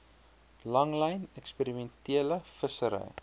langlyn eksperimentele vissery